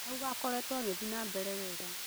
Auga akoretwo agĩthiĩ na mbere wega